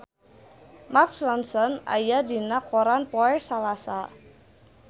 Mark Ronson aya dina koran poe Salasa